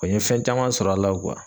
n ye fɛn caman sɔr'a la.